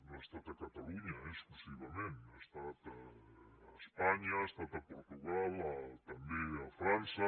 no ha estat a catalunya eh exclusivament ha estat a espanya ha estat a portugal també a frança